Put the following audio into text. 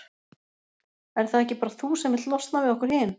Ert það ekki bara þú sem vilt losna við okkur hin?